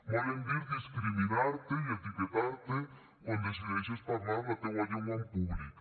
volen dir discriminar te i etiquetar te quan decideixes parlar la teua llengua en públic